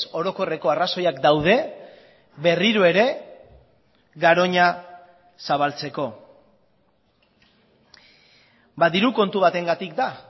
orokorreko arrazoiak daude berriro ere garoña zabaltzeko ba diru kontu batengatik da